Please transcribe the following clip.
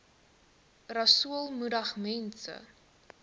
rasool moedig mense